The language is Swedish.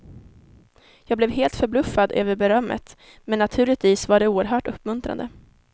Jag blev helt förbluffad över berömmet, men naturligtvis var det oerhört uppmuntrande.